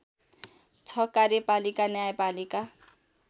छ कार्यपालिका न्यायपालिका